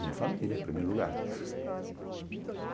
Minha família, em primeiro lugar.